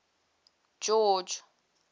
george